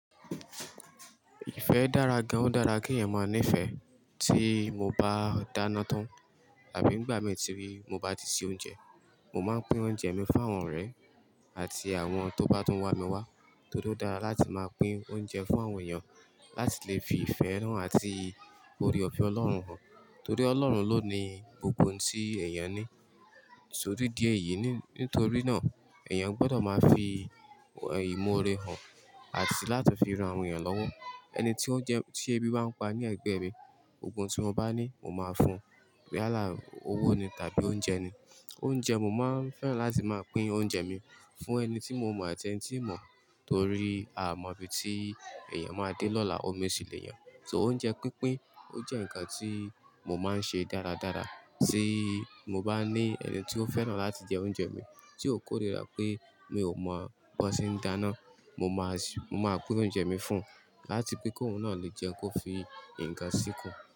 Ìfẹ́ dára gan, ó dára kí ẹ̀yàn mọ ní ìfẹ́. Tí mo bá dáná tán àbí nígbà mí tí, mo bá ti se oúnjẹ, mo máa ń pín oúnjẹ mi fún àwọn ọ̀rẹ́ àti àwọn tó bá tún wá mi wá. Torí ó dára láti máa pín oúnjẹ fún àwọn èèyàn láti lè fi ìfẹ́ hàn àti ore ọ̀fẹ́ Ọlọ́run hàn. Torí Ọlọ́run ló ní gbogbo ohun tí èèyàn ní. So ní dí eyìí, nítorí náà èèyàn gbọ́dọ̀ máa fi ìmọ́ore hàn àti láti fi ran àwọn èèyàn lọ́wọ́. Ẹni tí oúnjẹ tí ebí bá ń pa ní ẹgbẹ́ mi, gbogbo n tí mo bá ní, mo máa fún un, yálà, owó ni tàbí oúnjẹ ni. Oúnjẹ, mo máa ń fẹ́ràn láti máa pín oúnjẹ mi fún ẹni tí mo mọ̀ àti ẹni tíì mọ́ torí a mọ̀ bí tí èèyàn máa dé lọ́la, omi ṣì lè yàn. So oúnjẹ pínpín, ó jẹ́ ǹkan tí mo máa ń ṣe dáradára. Tí mo bá ní ẹni tí ó fẹ́ràn láti jẹ oúnjẹ mi, tí ó kórìíra pé mi ò mọ̀ bó tí ń dáná, mo máa sì, mo máa pín oúnjẹ mi fún ùn láti pe kí òun náà lè jẹ́ un kó fi ǹkan sìkùn.